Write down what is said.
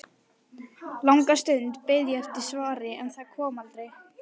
Langa stund beið ég eftir svari, en það kom aldrei.